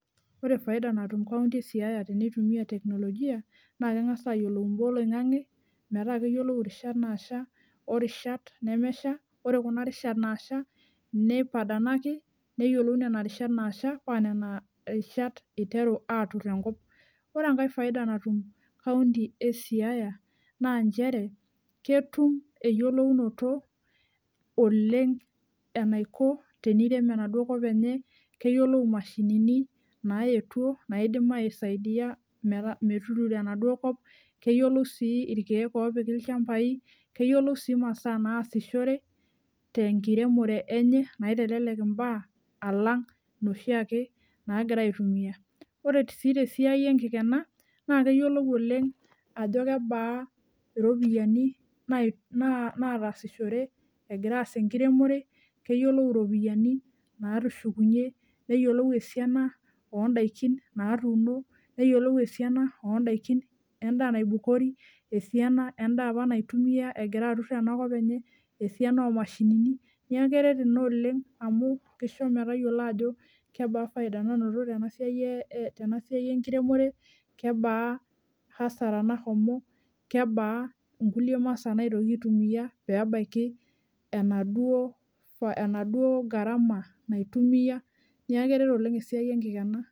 Ore faida natum county esiaya tenitumia teknolojia naa kengas ayiolou imbaa oloingange metaa peyiolou irishat nasha , orishat nemesha, ore kuna rishat nasha neipadanaki, neyiolou nena riashat nasha paa nena rishat iteru atur enkop. Ore enkae faida natum county esiaya naa nchere ketum eyiolounoto oleng enaiko tenirem enaduo kop enye, keyiolou imashinini naetuo naidim aisaidia meta, metuturo enaduo kop , keyiolou si irkiek opiki ilchambai , keyiolou si imasaa naasishore tenkiremore enye, naitelelek imbaa alang inoshi ake nagira aitumia . Ore sii tesiai enkikena naa keyiolou oleng ajo kebaa iropiyiani naatasishore egira aas enkiremore, keyiolou iropiyiani natushukunyie , neyiolou esiana ondaikin natuuno, neyiolou esiana ondaikin, endaa naibukori , esiana endaa apa naitumia egira atur ena kop enye , esiana omashinini , niaku keret ina oleng amu kisho metayiolo ajo kebaa faida tenasiai e , tenasiai enkiremore , kebaa hasara nahomo , kebaa nkulie masaa naitoki aitumia , pebaiki enaduo, enaduo garama naitumia, niaku keret oleng esiai enkikena.